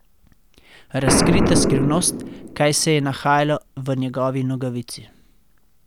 Razkrita skrivnost, kaj se je nahajalo v njegovi nogavici!